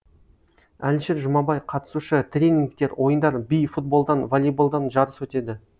әлішер жұмабай қатысушы тренингтер ойындар би футболдан волейболдан жарыс өтеді